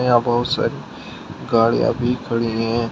यहां बहुत सारी गाड़ियां भी खड़ी हैं।